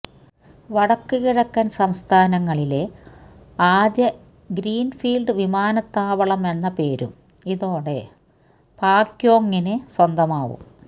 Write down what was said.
വടക്ക് കിഴക്കന് സംസ്ഥാനങ്ങളിലെ ആദ്യ ഗ്രീന്ഫീല്ഡ് വിമാനത്താവളമെന്ന പേരും ഇതോടെ പാക്യോങിന് സ്വന്തമാവും